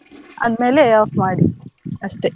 ಆದ್ಮೇಲೆ off ಮಾಡಿ ಅಷ್ಟೆ.